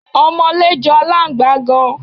Ọmọlé jọ aláǹgbá gan.